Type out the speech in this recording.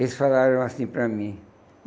Eles falaram assim para mim.